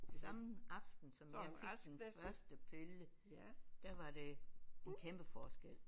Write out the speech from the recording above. Samme aften som jeg fik den første pille der var det en kæmpe forskel